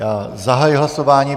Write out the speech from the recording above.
Já zahajuji hlasování.